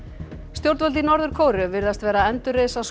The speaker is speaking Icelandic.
stjórnvöld í Norður Kóreu virðast vera að endurreisa